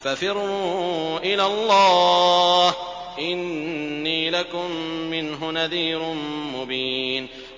فَفِرُّوا إِلَى اللَّهِ ۖ إِنِّي لَكُم مِّنْهُ نَذِيرٌ مُّبِينٌ